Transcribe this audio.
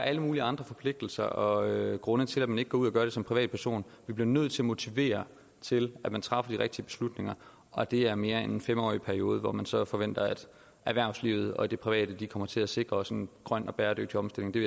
alle mulige andre forpligtelser og grunde til at man ikke går ud og gør det som privatperson vi bliver nødt til at motivere til at man træffer de rigtige beslutninger og det er mere end en fem årig periode hvor man så forventer at erhvervslivet og de private kommer til at sikre os en grøn og bæredygtig omstilling det